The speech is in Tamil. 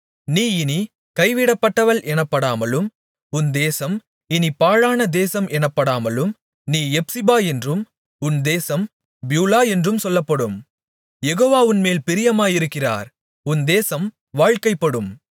நீ இனிக் கைவிடப்பட்டவள் எனப்படாமலும் உன் தேசம் இனிப் பாழான தேசம் எனப்படாமலும் நீ எப்சிபா என்றும் உன் தேசம் பியூலா என்றும் சொல்லப்படும் யெகோவா உன்மேல் பிரியமாயிருக்கிறார் உன் தேசம் வாழ்க்கைப்படும்